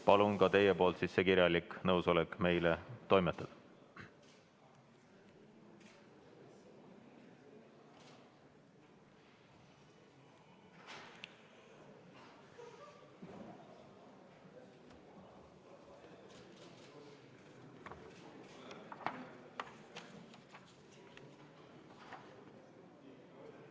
Palun ka teie kirjalik nõusolek meie kätte toimetada.